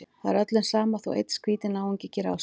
Það er öllum sama þótt einn skrýtinn náungi geri á sig.